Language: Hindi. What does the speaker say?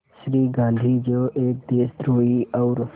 श्री गांधी जो एक देशद्रोही और